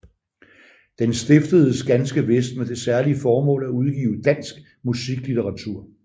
Den stiftedes ganske vist med det særlige formål at udgive dansk musiklitteratur